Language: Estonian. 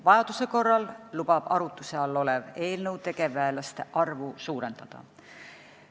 Vajaduse korral lubab arutuse all olev eelnõu tegevväelaste arvu suurendada.